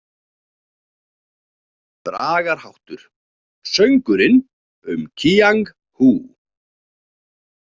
Bragarháttur: „Söngurinn um Kíang Hú“.